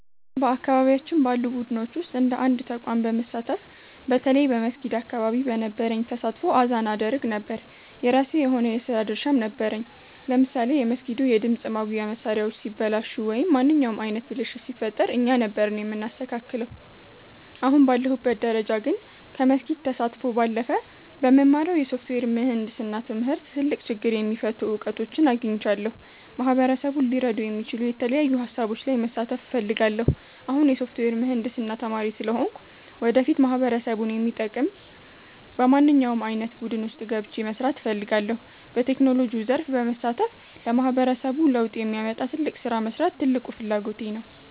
በአካባቢያችን ባሉ ቡድኖች ውስጥ እንደ አንድ ተቋም በመሳተፍ፣ በተለይ በመስጊድ አካባቢ በነበረኝ ተሳትፎ አዛን አደርግ ነበር። የራሴ የሆነ የሥራ ድርሻም ነበረኝ፤ ለምሳሌ የመስጊዱ የድምፅ ማጉያ መሣሪያዎች ሲበላሹ ወይም ማንኛውም ዓይነት ብልሽት ሲፈጠር እኛ ነበርን የምናስተካክለው። አሁን ባለሁበት ደረጃ ግን፣ ከመስጊድ ተሳትፎ ባለፈ በምማረው የሶፍትዌር ምህንድስና ትምህርት ትልቅ ችግር የሚፈቱ እውቀቶችን አግኝቻለሁ። ማህበረሰቡን ሊረዱ የሚችሉ የተለያዩ ሃሳቦች ላይ መሳተፍ እፈልጋለሁ። አሁን የሶፍትዌር ምህንድስና ተማሪ ስለሆንኩ፣ ወደፊት ማህበረሰቡን የሚጠቅም በማንኛውም ዓይነት ቡድን ውስጥ ገብቼ መሥራት እፈልጋለሁ። በቴክኖሎጂው ዘርፍ በመሳተፍ ለማህበረሰቡ ለውጥ የሚያመጣ ትልቅ ሥራ መሥራት ትልቁ ፍላጎቴ ነው።